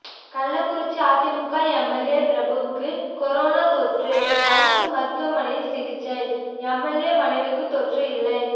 கள்ளக்குறிச்சி அதிமுக எம்எல்ஏ பிரபுவுக்கு கொரோனா தொற்று அரசு மருத்துவமனையில் சிகிச்சை எம்எல்ஏ மனைவிக்கு தொற்று இல்லை